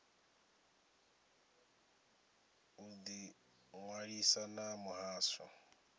u ḓi ṅwalisa na muhasho